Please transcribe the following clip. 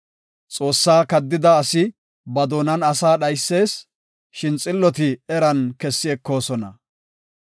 Xoossaa kaddida asi ba doonan asa dhaysis; shin xilloti eran kessi ekoosona.